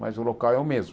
Mas o local é o mesmo.